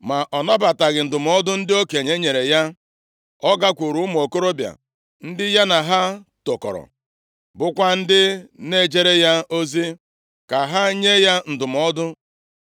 Ma ọ nabataghị ndụmọdụ ndị okenye nyere ya, ọ gakwuru ụmụ okorobịa ndị ya na ha tokọrọ, bụkwa ndị na-ejere ya ozi, ka ha nye ya ndụmọdụ.